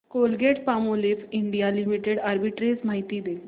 Colgate Palmolive India limited arbitrage माहिती दे